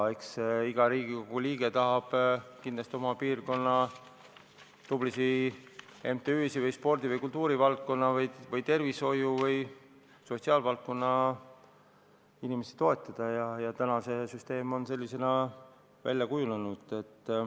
Eks iga Riigikogu liige tahab kindlasti oma piirkonna tublisid MTÜ-sid või spordi-, kultuuri-, tervishoiu- või sotsiaalvaldkonna inimesi toetada ja see süsteem on sellisena välja kujunenud.